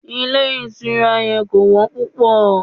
Ilé ìtura yẹn kò wọ́n púpọ̀.